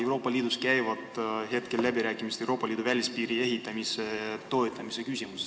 Euroopa Liidus käivad ju praegu läbirääkimised Euroopa Liidu välispiiri ehitamise toetamise üle.